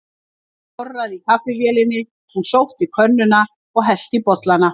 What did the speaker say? Það korraði í kaffivélinni, hún sótti könnuna og hellti í bollana.